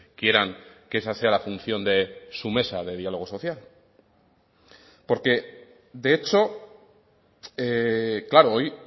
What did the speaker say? quieran que esa sea la función de su mesa de diálogo social porque de hecho claro hoy